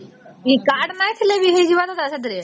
ଏ card ନାଇଁ ଥିଲେ ବି ହେଇଯିବ ଦାଦା ସେଇଥିରେ ?